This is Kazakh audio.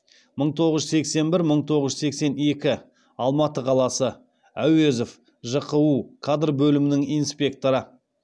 мың тоғыз жүз сексен бір мың тоғыз жүз сексен екі алматы қаласы әуезов жқу кадр бөлімінің инспекторы